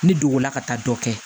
Ne dogo la ka taa dɔ kɛ